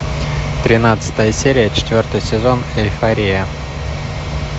тринадцатая серия четвертый сезон эйфория